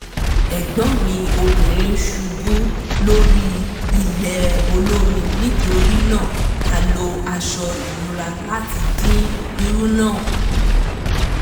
ẹ̀gbọ́n mi obìnrin ṣubú lórí ilẹ̀ olómi nítorí náà a lo aṣọ ìnura láti dín wíwú náà kù